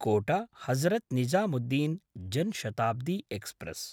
कोट–हजरत् Nizamuddin Jan Shatabdi express